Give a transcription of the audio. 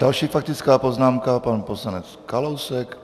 Další faktická poznámka, pan poslanec Kalousek.